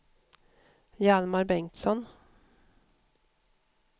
Hjalmar Bengtsson